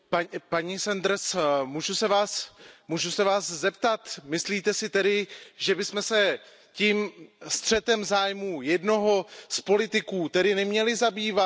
Paní Senderová, můžu se vás zeptat Myslíte si tedy, že bychom se tím střetem zájmů jednoho z politiků tedy neměli zabývat?